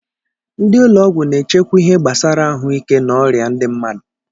Ndị ụlọ ọgwụ na-echekwa ihe gbasara ahụ ike na ọrịa ndị mmadụ.